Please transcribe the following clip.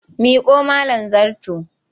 Miƙo mIn zarto!